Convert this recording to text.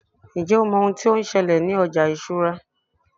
njé o mọ oun ti o n ṣẹlẹ ní ọjà ìṣura